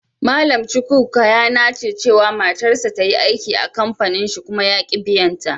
Mallam Chukwuka ya nace cewa matarsa ta yi aiki a'kampanin shi kuma yaki biyan ta.